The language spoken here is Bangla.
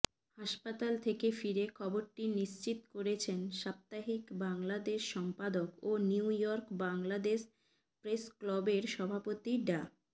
হাসপাতাল থেকে ফিরে খবরটি নিশ্চিত করেছেন সাপ্তাহিক বাংলাদেশ সম্পাদক ও নিউইয়র্ক বাংলাদেশ প্রেসক্লবের সভাপতি ডা